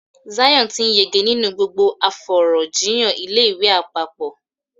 Zion ti n yege ninu gbogbo afọ̀rọ̀jíyàn ilé ìwé àpapọ̀.